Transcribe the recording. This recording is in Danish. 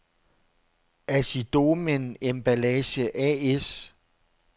Assidomän Emballage A/S